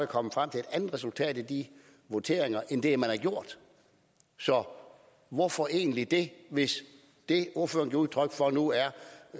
kommet frem til et andet resultat i de voteringer end de er så hvorfor egentlig det hvis det ordføreren giver udtryk for nu er